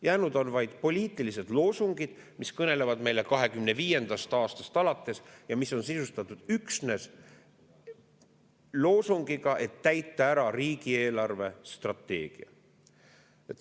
Jäänud on vaid poliitilised loosungid, mis kõnelevad meile 2025. aastast alates ja mis on sisustatud üksnes sellega, et täita ära riigi eelarvestrateegia.